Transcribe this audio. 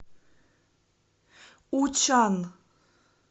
учан